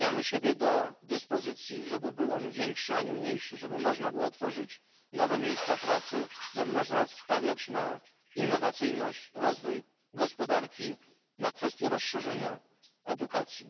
Stawiamy siebie do dyspozycji, żeby był on większy, a nie mniejszy, żeby można było tworzyć nowe miejsca pracy, żeby można było stawiać na innowacyjność, rozwój gospodarki, na kwestię rozszerzenia i edukacji.